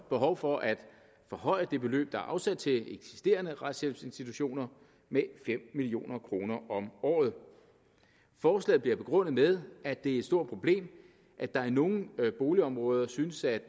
behov for at forhøje det beløb der er afsat til eksisterende retshjælpsinstitutioner med fem million kroner om året forslaget bliver begrundet med at det er et stort problem at der i nogle boligområder synes at